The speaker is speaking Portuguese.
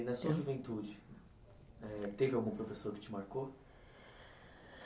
E na sua juventude, eh teve algum professor que te marcou?